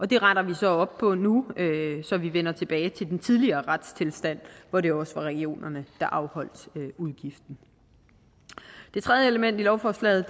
det retter vi så op på nu så vi vender tilbage til den tidligere retstilstand hvor det også var regionerne der afholdt udgiften det tredje element i lovforslaget